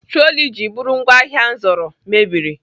Troli ji bụrụ ngwaahịa m zụrụ mebiri.